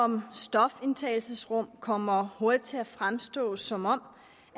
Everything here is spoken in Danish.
om stofindtagelsesrum kommer hurtigt til at fremstå som om